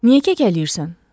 Niyə kəkələyirsən?